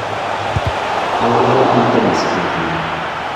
aurerenii tenis petuni.